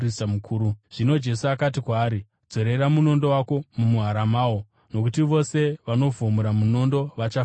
Zvino Jesu akati kwaari, “Dzorera munondo wako mumuhara mawo, nokuti vose vanovhomora munondo vachafa nomunondo.